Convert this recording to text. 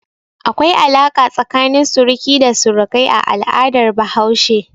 Akwai alaƙa tsakanin suruki da surukai a al'adar Bahaushe.